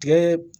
Tigɛ